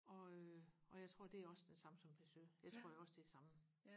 og øh og jeg tror det er også den samme som Peugeot det tror jeg også det er det samme